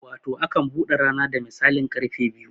Wato akan bude rana da misalin karfe biyu